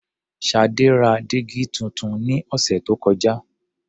Ṣadé ra dígí tuntun ní ọ̀sẹ̀ tó kọjá.